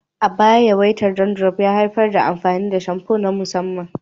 A baya, yawaitar dandruff ya haifar da amfani da shamfu na musamman.